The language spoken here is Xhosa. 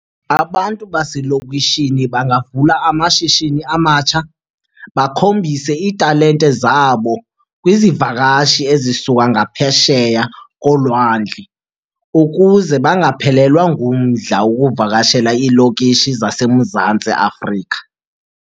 Abantu baselokishini bangavula amashishini amatsha bakhombise iitalente zabo kwizivakashi ezisuka ngaphesheya kolwandle ukuze bangaphelelwa ngumdla wokuvakashela iilokishi zaseMzantsi Afrika.